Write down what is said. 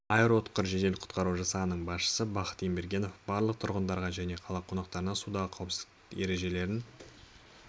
аэроұтқыр жедел құтқару жасағының басшысы бақыт ембергенов барлық тұрғындарға және қала қонақтарына судағы қауіпсіздік ережелерін